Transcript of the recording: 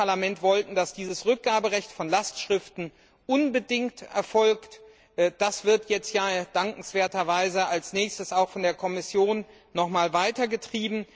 Wir als Parlament wollten, dass dieses Rückgaberecht von Lastschriften unbedingt erfolgt. Das wird jetzt ja dankenswerterweise als nächstes auch von der Kommission weiterverfolgt.